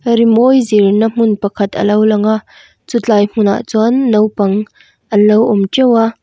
rimawi zirna hmun pakhat alo lang a chutlai hmun ah chuan naupang anlo awm teuh a --